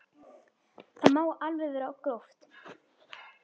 Það má alveg vera gróft.